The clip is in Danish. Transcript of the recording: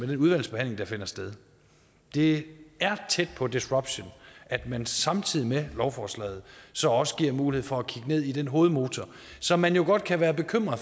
den udvalgsbehandling der finder sted det er tæt på disruption at man samtidig med lovforslaget så også giver mulighed for at kigge ned i den hovedmotor som man jo godt kan bekymre